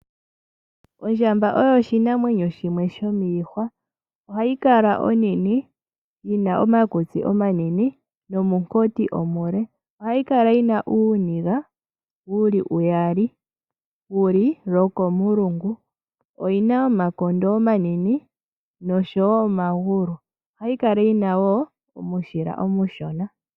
Ondjamba oyo oshinamwenyo shimwe shomiihwa ohayi kala onene yina omakutsi omanene nomukoti omule, ohayi kala yina uuniga wuli uyali wuli lokomulungu, oyina omakondo omanene noshowo omagulu. Ohayi kala wo yina omushila omushona.